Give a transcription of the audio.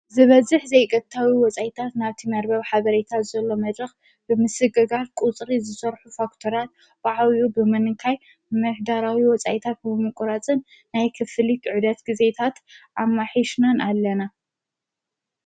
ዝበዝኅ ዘይገታዊ ወፃይታት ናብቲ መርበብ ሓበሬታት ዘሎ መድረኽ ብምስገጋር ቁጽሪ ዝሠርኁ ፋክተራያት በዕውዩ ብምንንካይ መኅዳራዊ ወፃይታት ምቊራጽን ናይ ክፍሊኽ ዕደት ጊዜታት ኣማኂሽናን ኣለና።